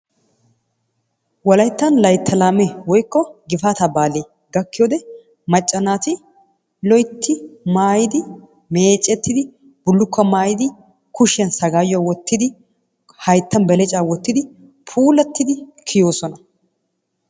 Wolayttan layttaa laamee woykko gifaata baali gakkiyo wode macca naati loytti maayidi meecettidi bulukkuwa maayidi kushiyan sagaayuwa wottidi hayttan beleccaa wottidi puulattid kiyoosona.